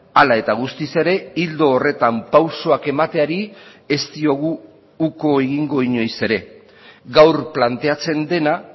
hala eta guztiz ere ildo horretan pausuak emateari ez diogu uko egingo inoiz ere gaur planteatzen dena